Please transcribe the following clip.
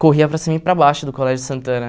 Corria para cima e para baixo do Colégio Santana.